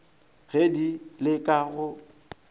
ge di le ka go